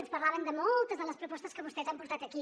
ens parlaven de moltes de les propostes que vostès han portat aquí